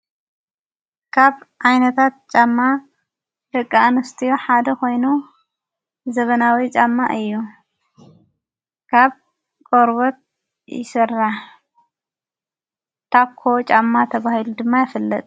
ካብ ኣይነታት ጫማ ደቂ እንስትዮ ሓደ ኾይኖ ዘበናዊይ ፃማ እዩ ካብ ቆርበት ይሠራ ታኮ ጫማ ተብሂሉ ድማ የፈለጥ ::